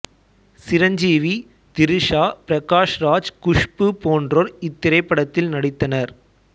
சிரஞ்சீவி திரிசா பிரகாஷ் ராஜ் குஸ்பு போன்றோர் இத்திரைப்படத்தில் நடித்தனர்